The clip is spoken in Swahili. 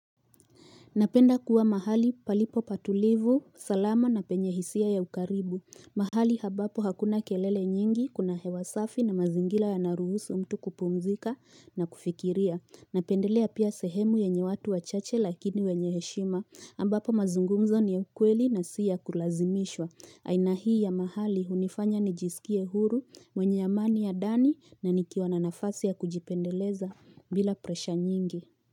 Napenda kuwa mahali palipo patulivu, salama na penye hisia ya ukaribu. Mahali ambapo hakuna kelele nyingi, kuna hewa safi na mazingila yanaruhusu mtu kupumzika na kufikiria. Napendelea pia sehemu yenye watu wachache lakini wenye heshima. Ambapo mazungumzo ni ya ukweli na si ya kulazimishwa. Aina hii ya mahali unifanya nijisikie huru, mwenye amani ya dani na nikiwa na nafasi ya kujipendeleza bila presha nyingi.